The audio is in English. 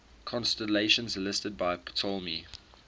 constellations listed by ptolemy